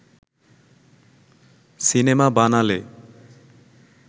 cinema বানালে